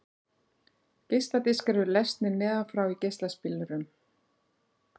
Geisladiskar eru lesnir neðan frá í geislaspilurum.